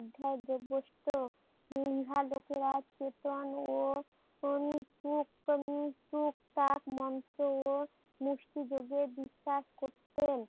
অধ্যায় গোবৎসো ইহা লোকেরা কেতন ও অন্তুক উম টুক টুকটাক মন্ত্র ও মস্তিযোগে বিশ্বাস করতেন।